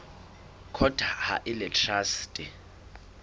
court ha e le traste